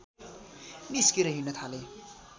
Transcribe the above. निस्केर हिंड्न थाले